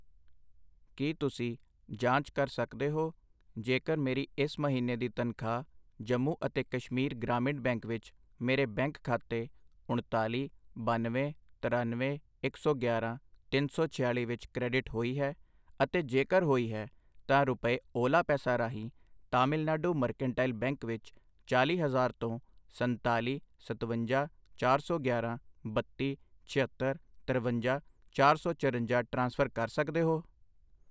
ਕਿ ਤੁਸੀਂਂ ਜਾਂਚ ਕਰ ਸਕਦੇ ਹੋ ਜੇਕਰ ਮੇਰੀ ਇਸ ਮਹੀਣੇ ਦੀ ਤਨਖਾਹ ਜੰਮੂ ਅਤੇ ਕਸ਼ਮੀਰ ਗ੍ਰਾਮੀਣ ਬੈਂਕ ਵਿੱਚ ਮੇਰੇ ਬੈਂਕ ਖਾਤੇ ਉਣਤਾਲੀ, ਬਾਨਵੇਂ, ਤਰਨਵੇਂ, ਇੱਕ ਸੌ ਗਿਆਰਾਂ, ਤਿੰਨ ਸੌ ਛਿਆਲੀ ਵਿੱਚ ਕ੍ਰੈਡਿਟ ਹੋਈ ਹੈ, ਅਤੇ ਜੇਕਰ ਹੋਈ ਹੈ, ਤਾਂ ਰੁਪਏ ਓਲਾ ਪੈਸਾ ਰਾਹੀਂ ਤਾਮਿਲਨਾਡੂ ਮਰਕੈਂਟਾਈਲ ਬੈਂਕ ਵਿੱਚ ਚਾਲ੍ਹੀ ਹਜ਼ਾਰ ਤੋਂ ਸੰਤਾਲੀ, ਸਤਵੰਜਾ, ਚਾਰ ਸੌ ਗਿਆਰਾਂ, ਬੱਤੀ, ਛਿਅੱਤਰ, ਤਰਵੰਜਾ, ਚਾਰ ਸੌ ਚਰੰਜਾ ਟ੍ਰਾਂਸਫਰ ਕਰ ਸਕਦੇ ਹੋ ?